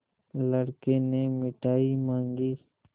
लड़के ने मिठाई मॉँगी